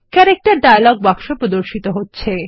character dialogue বাক্স প্রদর্শিত হচ্ছে